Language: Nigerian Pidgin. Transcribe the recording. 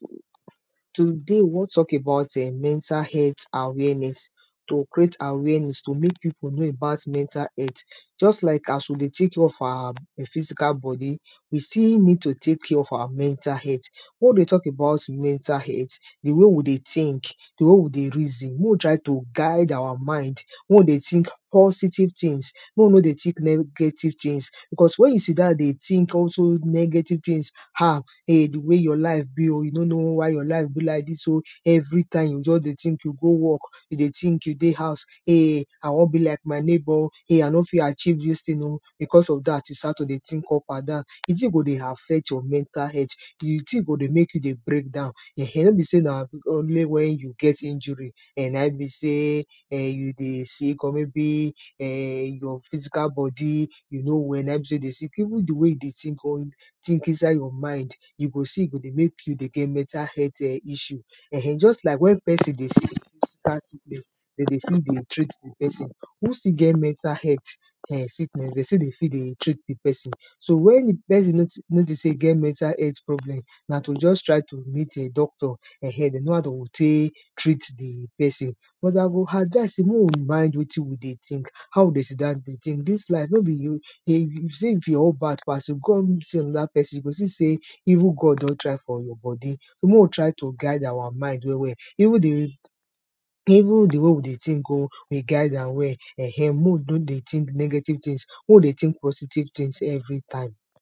Today we wan tok about [um]mental health awareness, to create awareness to mek pipo know about mental health just like as we dey tek care of our physical body, we still need to tek care of our mental health. Wen we dey tok about mental health, di way we dey think, di way we dey reason mek we try to guide our mind, mek we dey think positive things, mek we no dey think negative things becos, wen you sit down dey think all dose negative things, um di way your life be o, you know no why your life be like dis o, everytime you just dey think, you go work you dey think, you dey house ayy I wan be like my neighbor o, um I no fit achieve dis thing o, becos of dat you start to dey think up and down, di thing go dey affect your mental health, di thing go dey make you dey break down, um no be sey na only wen you get injury, [um]na be sey you dey sick or maybe um your physical body, you no well na e mean sey you dey sick, even di way you dey think or think inside your mind, you go see e go dey mek you dey get mental health issue um just like wen person dey sick physical sickness, dem dey fit dey treat di person.who still get mental health [um]sickness dey still dey fi dey treat d person Once you notice say you get mental health sickness dem still dey fit dey treat di person. So wen di person notice sey e get mental health problem na to just try to meet a doctor um, dey know how dem go tek treat di person, but I go advice sey mek we mind wetin we dey think, how we dey sit down dey think, dis life if you say your own bad pass, if you come even see another person you go see sey even God don try for your body. So mek we try to guide our mind well well. Even di way we dey think o we guide am well um. Mek we no dey think negative things mek we dey think positive things everytime.